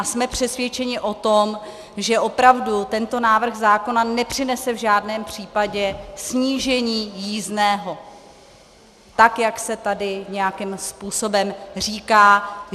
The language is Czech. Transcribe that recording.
A jsme přesvědčeni o tom, že opravdu tento návrh zákona nepřinese v žádném případě snížení jízdného tak, jak se tady nějakým způsobem říká.